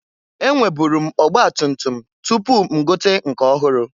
E nweburu m ọgbatutum tupu m gote nke ọhụrụ.